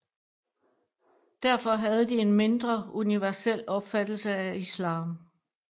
Derfor havde de en mindre universel opfattelse af islam